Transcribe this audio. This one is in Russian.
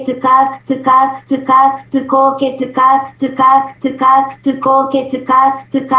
как ты как ты как ты как ты как ты как ты